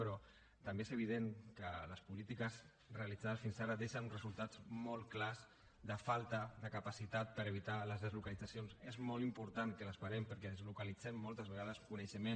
però també és evident que les polítiques realitzades fins ara deixen resultats molt clars de falta de capacitat per evitar les deslocalitzacions és molt important que les parem perquè deslocalitzem moltes vegades coneixement